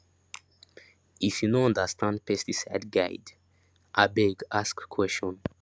if you no understand pesticide guide abeg ask question